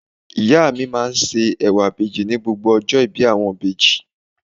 Ìyá mi máa ń se ẹwà ìbejì ní gbogbo ọjọ́ ìbí àwọn ìbejì.